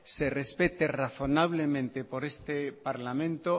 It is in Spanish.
se respete razonablemente por este parlamento